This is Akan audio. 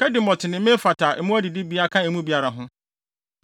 Kedemot ne Mefaat a mmoa adidibea ka emu biara ho.